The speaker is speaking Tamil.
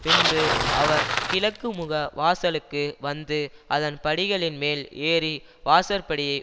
பின்பு அவர் கிழக்குமுக வாசலுக்கு வந்து அதன் படிகளின்மேல் ஏறி வாசற்படியை